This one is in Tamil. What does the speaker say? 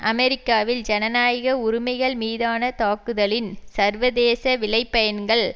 அமெரிக்காவில் ஜனநாயக உரிமைகள் மீதான தாக்குதலின் சர்வதேச விளைபயன்கள்